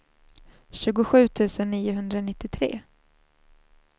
tjugosju tusen niohundranittiotre